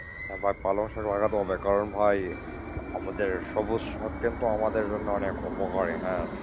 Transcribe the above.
একবার পালং শাক লাগাতে হবে, কারণ ভাই আমাদের সবুজ শাক কিন্তু আমাদের জন্য অনেক উপকারী হ্যাঁ।